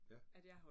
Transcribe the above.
Ja